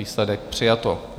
Výsledek: přijato.